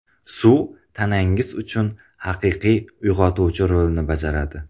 Suv tanangiz uchun haqiqiy uyg‘otuvchi rolini bajaradi.